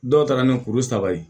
Dɔw ta ka na ni kuru saba ye